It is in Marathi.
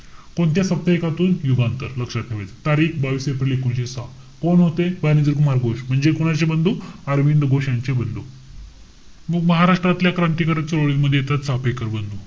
कोणत्या फक्त एकातून? युगांत. लक्षात ठेवायचंय. तारीख, बावीस एप्रिल एकोणीशे सहा. कोण होते बारिंद्र कुमार घोष. म्हणजे कोणाचे बंधू? अरविंद घोष यांचे बंधू. मग महाराष्ट्रातल्या क्रांतिकारकांच्या ओळी मध्ये येतात, चाफेकर बंधू.